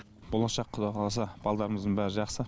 болашақ құдай қаласа балдарымыздың бәрі жақсы